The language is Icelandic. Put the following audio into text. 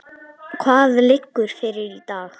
Hvað liggur fyrir í dag?